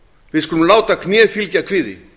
við skulum láta kné fylgja kviði